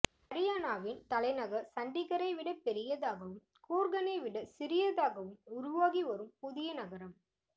ஹரியானாவின் தலைநகர் சண்டிகரை விட பெரியதாகவும் கூர்கனை விட சிறியதாகவும் உருவாகி வரும் புதிய நகரம்